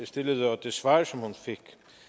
stillede og det svar som hun fik